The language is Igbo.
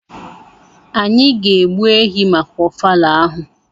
anyi ga egbu ehi maka ofala ahụ.